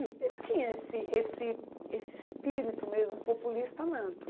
Ele tinha esse esse esse espírito mesmo populista nato.